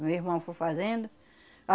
Meu irmão foi fazendo.